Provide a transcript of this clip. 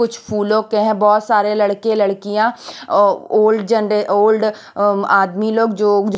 कुछ फूलों के हैं बहुत सारे लड़के लड़कियां ओल्ड जें ओल्ड आदमी लोग जो--